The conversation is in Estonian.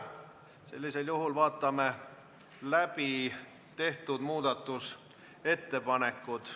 Sellisel juhul vaatame läbi tehtud muudatusettepanekud.